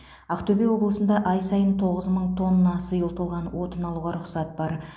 ақтөбе облысында ай сайын тоғыз мың тонна сұйытылған отын алуға рұқсат бар